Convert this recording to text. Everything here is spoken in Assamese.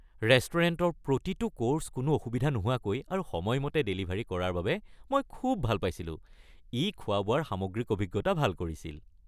ৰেষ্টুৰেণ্টৰ প্ৰতিটো ক'ৰ্ছ কোনো অসুবিধা নোহোৱাকৈ আৰু সময়মতে ডেলেভাৰী কৰাৰ বাবে মই খুব ভাল পাইছিলো; ই খোৱা-বোৱাৰ সামগ্ৰিক অভিজ্ঞতা ভাল কৰিছিল।